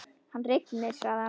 Hann rignir, sagði hann.